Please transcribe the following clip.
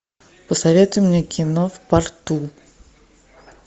посоветуй мне кино в порту